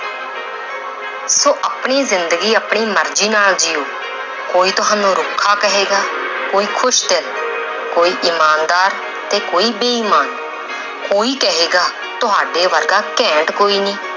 ਆਪਣੀ ਜ਼ਿੰਦਗੀ ਆਪਣੀ ਮਰਜ਼ੀ ਨਾਲ ਜੀਓ ਕੋਈ ਤੁਹਾਨੂੰ ਰੁੱਖਾ ਕਹੇਗਾ ਕੋਈ, ਖ਼ੁਸ਼ ਦਿਲ, ਕੋਈ ਇਮਾਨਦਾਰ ਤੇ ਕੋਈ ਬੇਈਮਾਨ ਕੋਈ ਕਹੇਗਾ ਤੁਹਾਡੇ ਵਰਗਾ ਘੈਂਟ ਕੋਈ ਨਹੀਂ